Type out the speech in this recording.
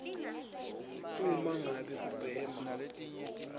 uma ngabe ubhema